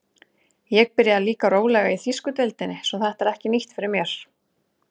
Ég byrjaði líka rólega í þýsku deildinni svo þetta er ekki nýtt fyrir mér.